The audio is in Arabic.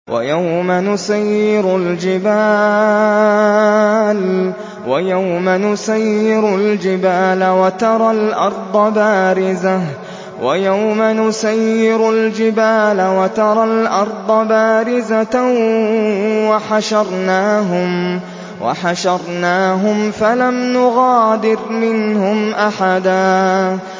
وَيَوْمَ نُسَيِّرُ الْجِبَالَ وَتَرَى الْأَرْضَ بَارِزَةً وَحَشَرْنَاهُمْ فَلَمْ نُغَادِرْ مِنْهُمْ أَحَدًا